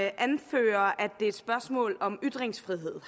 anfører at det er et spørgsmål om ytringsfrihed